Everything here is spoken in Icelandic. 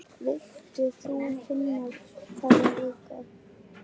Vilt þú finna það líka?